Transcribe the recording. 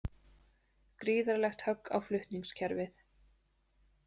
Gríðarlegt högg á flutningskerfið